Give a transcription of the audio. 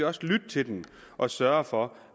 også lytte til dem og sørge for